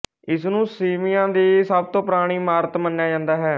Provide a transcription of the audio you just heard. ਇਸਨੂੰ ਸੀਵੀਆ ਦੀ ਸਭ ਤੋਂ ਪੁਰਾਣੀ ਇਮਾਰਤ ਮੰਨਿਆ ਜਾਂਦਾ ਹੈ